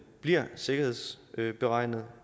bliver sikkerhedsberegnet